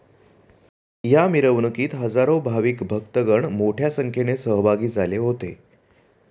या मिरवणूकीत हजारो भाविक भक्तगण मोठ्या संख्येने सहभागी झाले होते.